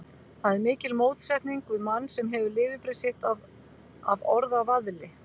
Það er mikil mótsetning við mann, sem hefur lifibrauð sitt af orðavaðli.